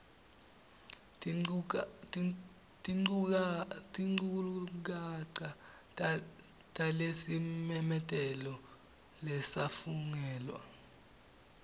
tinchukaca talesimemetelo lesafungelwa